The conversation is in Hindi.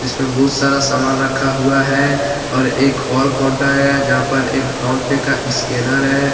इसमे बहुत सारा सामान रखा हुआ है और एक और कांउटर है जहां पर एक फोन पे का स्कैनर है।